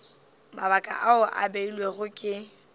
mabaka ao a beilwego ke